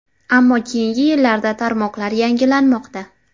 Ammo keyingi yillarda tarmoqlar yangilanmoqda.